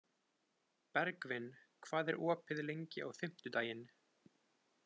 Bergvin, hvað er opið lengi á fimmtudaginn?